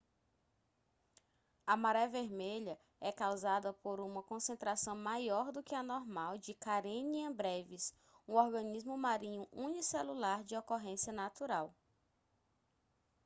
a maré vermelha é causada por uma concentração maior do que a normal de karenia brevis um organismo marinho unicelular de ocorrência natural